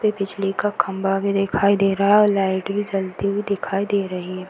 पे बिजली का खम्भा भी दिखाई दे रहा है और लाइट भी जलती हुई दिखाई दे रही है।